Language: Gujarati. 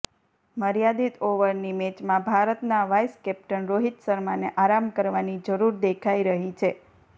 મર્યાદિત ઓવરની મેચમાં ભારતના વાઈસ કેપ્ટન રોહિત શર્માને આરામ કરવાની જરૂર દેખાઈ રહી છે